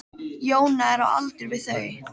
Jóna er á aldur við þau.